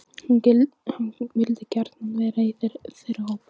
Hann vildi gjarnan vera í þeirra hópi.